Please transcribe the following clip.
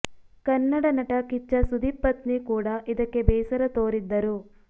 ಕನ್ನಡ ನಟ ಕಿಚ್ಚ ಸುದೀಪ್ ಪತ್ನಿ ಕೂಡ ಇದಕ್ಕೆ ಬೇಸರ ತೋರಿದ್ದರು